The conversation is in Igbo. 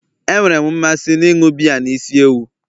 Enwere m mmasị n'ịṅụ biya na isi ewu